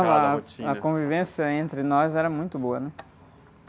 a rotina?h, a convivência entre nós era muito boa, né?